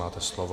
Máte slovo.